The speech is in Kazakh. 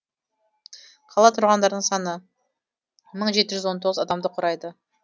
қала тұрғындарының саны мың жеті жүз он тоғыз адамды құрайды